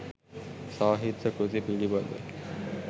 සාහිත්‍ය කෘති පිළිබඳ